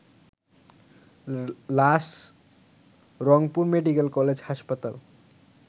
লাশ Rangpur medical college হাসপাতাল